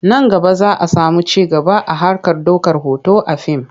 Nan gaba za a sami ci gaba a harkar ɗaukar hoto a fim.